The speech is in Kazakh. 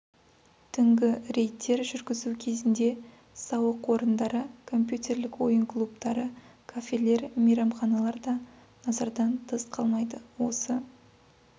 түнгі рейдтер жүргізу кезінде сауық орындары компьютерлік ойын клубтары кафелер мейрамханалар да назардан тыс қалмайды осы